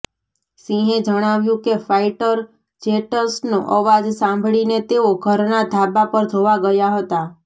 સિંહે જણાવ્યું કે ફાઈટર જેટસનો અવાજ સાંભળીને તેઓ ઘરના ધાબા પર જોવા ગયા હતા